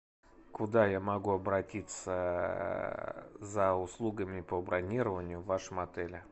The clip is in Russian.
куда я могу обратиться за услугами по бронированию в вашем отеле